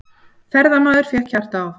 Ferðamaður fékk hjartaáfall